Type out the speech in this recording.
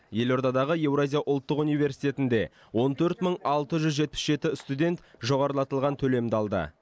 елордадағы еуразия ұлттық университетінде он төрт мың алты жүз жетпіс жеті студент жоғарылатылған төлемді алды